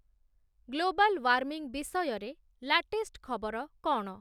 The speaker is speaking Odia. ଗ୍ଲୋବାଲ ୱାର୍ମିଂ ବିଷୟରେ ଲାଟେଷ୍ଟ ଖବର କ’ଣ?